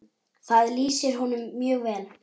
Það lýsir honum mjög vel.